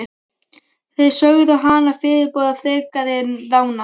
Þeir sögðu hana fyrirboða frekari rána.